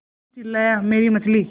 किच्चू चिल्लाया मेरी मछली